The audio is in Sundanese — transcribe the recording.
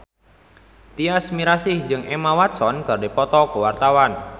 Tyas Mirasih jeung Emma Watson keur dipoto ku wartawan